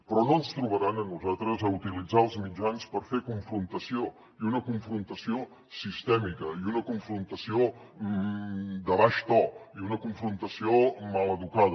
però no ens trobaran a nosaltres a utilitzar els mitjans per fer confrontació i una confrontació sistèmica i una confrontació de baix to i una confrontació maleducada